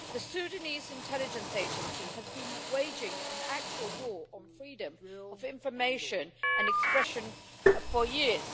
The Sudanese intelligence agency has been waging an actual war on freedom of information and expression for years.